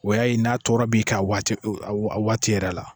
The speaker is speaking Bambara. O y'a n'a tɔɔrɔ b'i ka waati yɛrɛ la